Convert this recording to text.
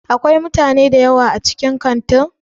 Akwai mutane dayawa a cikin Kantin?